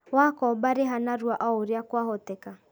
Wakomba rĩha narua o ũrĩa kwahoteka